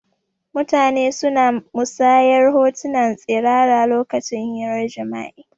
Mutane suna musanyar hotuna tsirara lokacin hirar jima'i